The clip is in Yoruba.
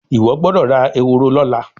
Iwọ gbódò rà Ehoro lọla.